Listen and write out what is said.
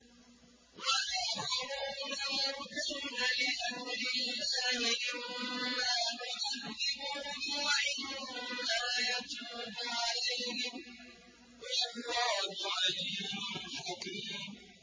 وَآخَرُونَ مُرْجَوْنَ لِأَمْرِ اللَّهِ إِمَّا يُعَذِّبُهُمْ وَإِمَّا يَتُوبُ عَلَيْهِمْ ۗ وَاللَّهُ عَلِيمٌ حَكِيمٌ